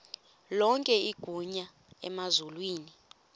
lonke igunya emazulwini